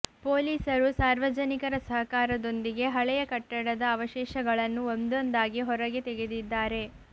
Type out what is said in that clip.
ಪೊಲೀಸರು ಸಾರ್ವಜನಿಕರ ಸಹಕಾರದೊಂದಿಗೆ ಹಳೆಯ ಕಟ್ಟಡದ ಅವಶೇಷಗಳನ್ನು ಒಂದೊಂದಾಗಿ ಹೊರಗೆ ತೆಗೆದಿದ್ದಾರೆ